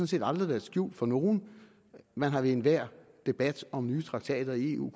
set aldrig været skjult for nogen man har ved enhver debat om nye traktater i eu